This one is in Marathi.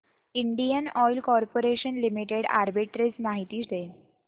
Indian oil corporation limited arbitrage माहिती दे